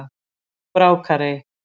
Brákarey